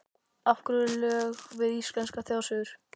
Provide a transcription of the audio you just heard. Af hverju lög við íslenskar þjóðsögur?